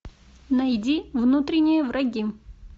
найди внутренние враги